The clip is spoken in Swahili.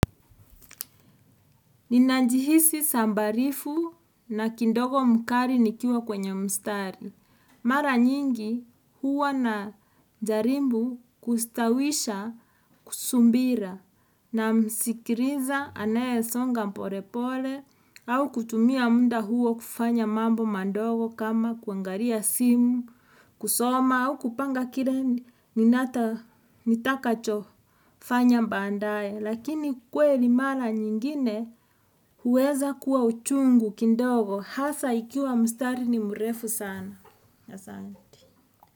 Ninanjihisi sambarifu na kindogo mkari nikiwa kwenye mstari. Mara nyingi huwa na jarimbu kustawisha kusumbira na msikiriza anaye songa porepole au kutumia muda huwa kufanya mambo mandogo kama kuangaria simu, kusoma au kupanga kire ni nata nitaka chofanya mbaandaye. Lakini kweli mara nyingine huweza kuwa uchungu kindogo Hasa ikiwa mstari ni murefu sana.